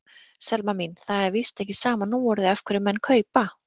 Selma mín, það er víst ekki sama núorðið af hverjum menn kaupa.